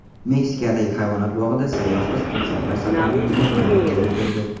Meksikadagi hayvonot bog‘ida sayyoh qiz timsohlar saqlanadigan maydonchaga kirdi .